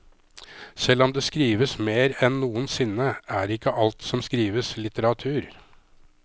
Selv om det skrives mer enn noen sinne, er ikke alt som skrives litteratur.